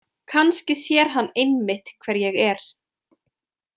Kannski sér hann einmitt hver ég er.